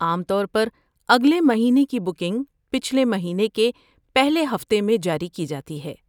عام طور پر اگلے مہینے کی بکنگ پچھلے مہینے کے پہلے ہفتے میں جاری کی جاتی ہے۔